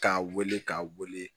K'a wele k'a wele